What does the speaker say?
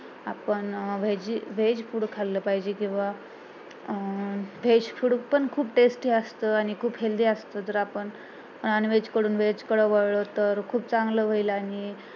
आपण veg food खाल्लं पाहिजे किंवा अं veg food पण खूप tasty असते आणि खूप healthy असतं जर आपण non veg कडून veg कडे वळलो तर खूप चांगलं होईल आणि